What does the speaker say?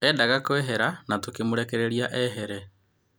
Endaga kũehera na tũkĩmũrekereria ehere.